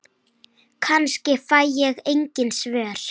Kannski fæ ég engin svör.